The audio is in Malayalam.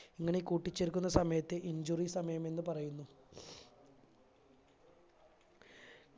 ഇങ്ങനെ കൂട്ടിച്ചേർക്കുന്ന സമയത്ത് injury സമയമെന്ന് പറയുന്നു